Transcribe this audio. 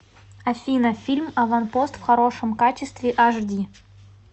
афина фильм аванпост в хорошем качестве аш ди